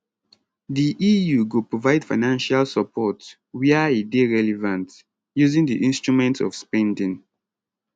di eu go provide financial support wia e dey relevant using di instruments of spending